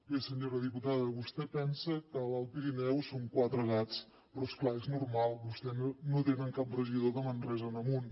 bé senyora diputada vostè pensa que a l’alt pirineu son quatre gats però és clar és normal vostès no tenen cap regidor de manresa en amunt